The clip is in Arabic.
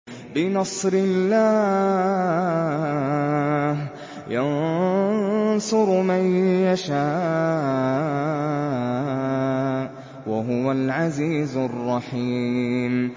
بِنَصْرِ اللَّهِ ۚ يَنصُرُ مَن يَشَاءُ ۖ وَهُوَ الْعَزِيزُ الرَّحِيمُ